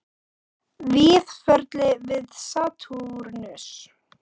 Víðförli við Satúrnus